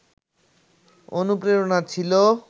অনুপ্রেরণা ছিল